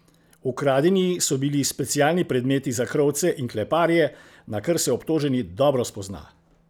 Ukradeni so bili specialni predmeti za krovce in kleparje, na kar se obtoženi dobro spozna.